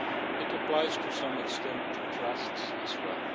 It applies to some extent to trusts as well.